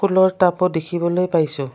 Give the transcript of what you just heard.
ফুলৰ টাবও দেখিবলৈ পাইছোঁ।